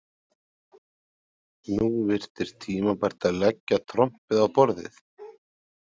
Nú virtist tímabært að leggja trompið á borðið.